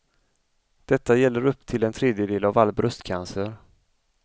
Detta gäller upp till en tredjedel av all bröstcancer.